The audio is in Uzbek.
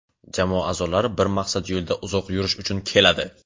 jamoa aʼzolari bir maqsad yo‘lida uzoq yurish uchun keladi;.